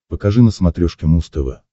покажи на смотрешке муз тв